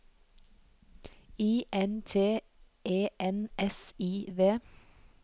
I N T E N S I V